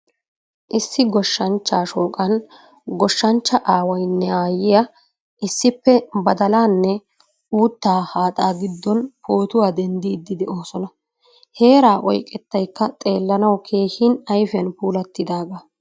Issi gooshshanchcha shoqqan goshshanchcha Aawaynne Aayiyaa issippe badalaanne uutta haaxa giddon pootuwaa denddidi deosona. Heeraa oyqqettaykka xeellanawu keehin ayfiyan puulattidaga.